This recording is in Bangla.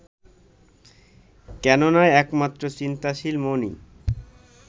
কেননা একমাত্র চিন্তাশীল মনই